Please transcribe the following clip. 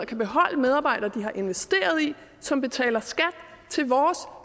kan beholde medarbejdere de har investeret i og som betaler skat til vores